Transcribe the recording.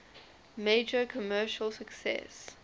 major commercial success